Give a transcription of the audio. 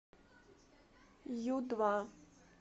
ю два